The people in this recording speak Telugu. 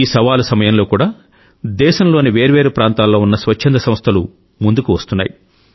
ఈ సవాలు సమయంలో కూడా దేశంలోని వేర్వేరు ప్రాంతాల్లో ఉన్న స్వచ్ఛంద సంస్థలు ముందుకు వస్తున్నాయి